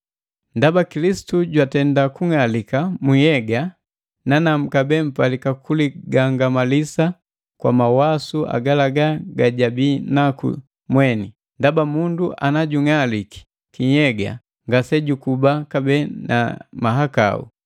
Ndaba Kilisitu jwatenda kung'alika mu nhyega, nanamu kabee mpalika kuligangamalisa kwa mawasu agalaga gajabii naku mweni, ndaba mundu ana jung'aliki kinhyega ngase jukuba kabee na mahakau.